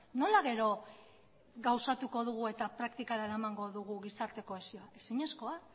nola gero gauzatuko dugu eta praktikara eramango dugu gizarte kohesioa ezinezkoa